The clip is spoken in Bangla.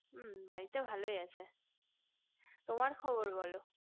বাড়িতে ভালোই আছে তোমার খবর বোলো